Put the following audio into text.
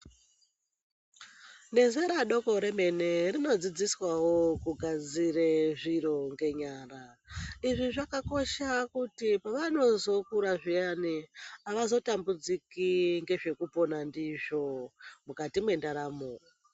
Nezera doko remene rinodzidzisawo kunasire zviro ngenyara izvi zvakakosha kuti pavanozokura zviyani havazo tambudziki ngezvekupona ndizvo mukati mwendaramo.